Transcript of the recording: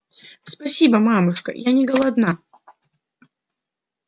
спасибо мамушка я не голодна